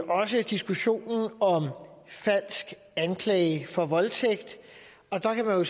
også diskussionen om falsk anklage for voldtægt og der kan man